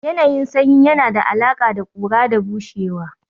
Yanayin sanyi yana da alaƙa da ƙura da bushewa